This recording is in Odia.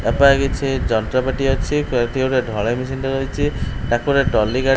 ତା ପାଖେ କିଛି ଯନ୍ତ୍ରପାତି ଅଛି ସେଠି ଗୋଟେ ଢ଼ଲେଇ ମେସିନଟେ ରହିଛି ତାକୁ ଗୋଟେ ଟ୍ରଲି ଗାଡ଼ି ।